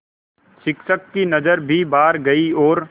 शिक्षक की नज़र भी बाहर गई और